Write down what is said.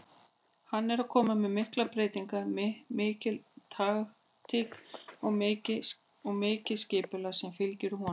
Hann er að koma með miklar breytingar, mikil taktík og mikið skipulag sem fylgir honum.